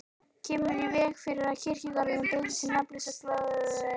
Kemur í veg fyrir að kirkjugarðurinn breytist í nafnlausa gróðurvin.